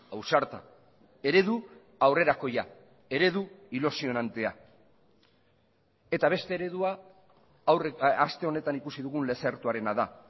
ausarta eredu aurrerakoia eredu ilusionantea eta beste eredua aste honetan ikusi dugun lezertuarena da